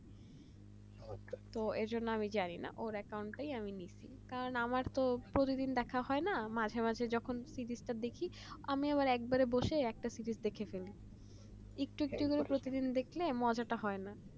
তো এজন্য আমি জানি না ওর একাউন্টে নিয়েছি কারণ আমার তো প্রতিদিন দেখা হয় নাই মাঝে মাঝে যখন দেখি আমিও একবারে বসে একটা সিরিজ দেখে ফেলি একটু একটু করে প্রতিদিন দেখলে মজাটা হয় না